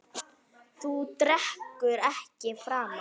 Þú drekkur ekki framar.